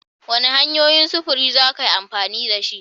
Wane hanyoyin sufuri za ka yi amfani da shi?